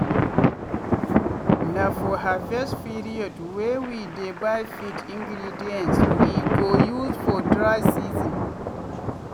na for harvest periodwey we dey buy feed ingredients wey we go use for dry season.